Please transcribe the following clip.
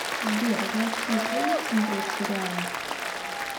сбер златкис любит смотреть сериалы